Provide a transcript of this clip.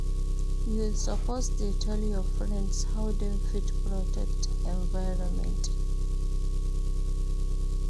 You suppose dey tell your friends how dem fit protect environment.